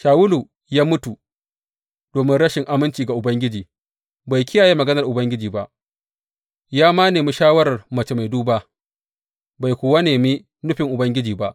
Shawulu ya mutu domin rashin aminci ga Ubangiji; bai kiyaye maganar Ubangiji ba, ya ma nemi shawarar mace mai duba, bai kuwa nemi nufin Ubangiji ba.